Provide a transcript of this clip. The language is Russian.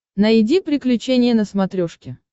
найди приключения на смотрешке